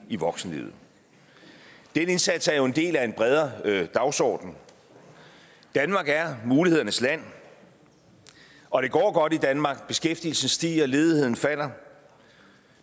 i voksenlivet den indsats er jo en del af en bredere dagsorden danmark er mulighedernes land og det går godt i danmark beskæftigelsen stiger ledigheden falder